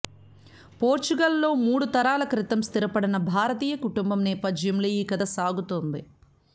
Portugal లో మూడు తరాల క్రితం స్థిరపడిన భారతీయ కుటుంబం నేపథ్యంలో ఈ కథ సాగుతుంది